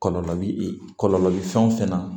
Kɔlɔlɔ bi e kɔlɔlɔ bi fɛn o fɛn na